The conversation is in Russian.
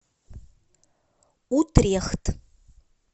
утрехт